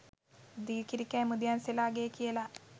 දී කිරි කෑ මුදියන්සේලාගේ කියලා